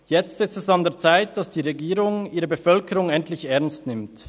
Jetzt ist es an der Zeit, dass die Regierung ihre Bevölkerung endlich ernst nimmt.